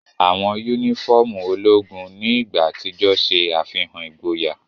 Awọn unifọmú ologun ni igba atijọ ṣe afihan igboya.